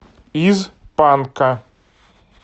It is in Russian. из панка